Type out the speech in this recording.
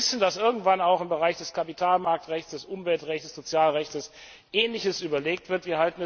Wir wissen, dass irgendwann auch im Bereich des Kapitalmarktrechts, des Umweltrechts, des Sozialrechts Ähnliches überlegt wird.